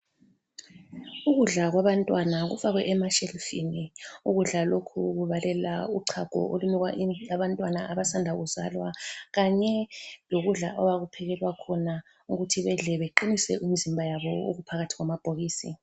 Ukudla kwabantwana kufakwe emashelufini. Ukudla lokhu kubalela uchago olunikwa abantwana abasanda kuzalwa Kanye lokudla abakuphekelwa khona ukuthi bedle beqinise imizimba yabo okuphakathi kwamabhokisi.